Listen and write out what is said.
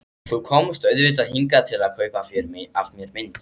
Þú komst auðvitað hingað til að kaupa af mér mynd.